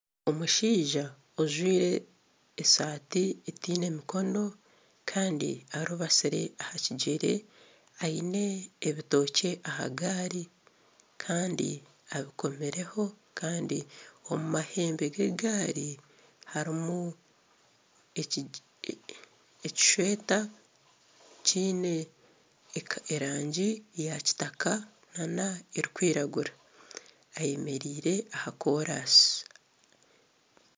Omushaija ajwire atiine mikono kandi arubasire aha kigyere aine ebitookey aha gaari kandi abikomireho akandi omu mahembe g'egaari harimu ekishweta kiine erangi eya kitaka nana erikwiragura ayemereire aha koorasi